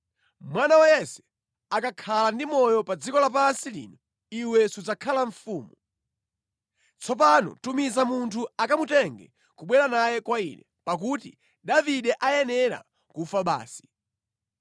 Mwana wa Yese akakhala ndi moyo pa dziko lapansi lino, iwe sudzakhala mfumu. Tsopano tumiza munthu akamutenge kubwera naye kwa ine, pakuti Davide ayenera kufa basi!”